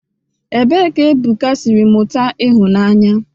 Kedụ ebe Ebuka siri mụta ịhụnanya?